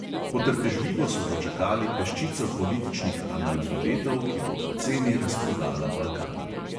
Potrpežljivo so dočakali peščico političnih analfabetov, ki bo poceni razprodala balkan.